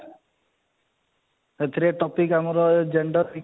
ଏଥିରେ topic ଆମର gender